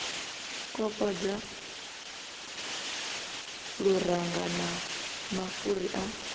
kokodza luranga na mafhuri a